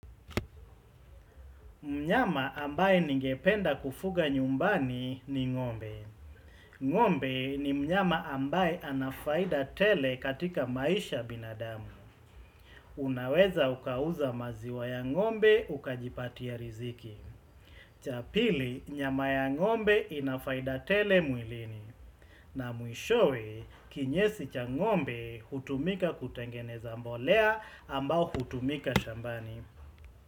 Mnyama ambaye ningependa kufuga nyumbani ni ng'ombe. Ng'ombe ni mnyama ambaye ana faida tele katika maisha binadamu. Unaweza ukauza maziwa ya ngombe ukajipatia riziki. Cha pili, nyama ya ng'ombe ina faida tele mwilini. Na mwishowe kinyesi cha ng'ombe hutumika kutengeneza mbolea ambao hutumika shambani.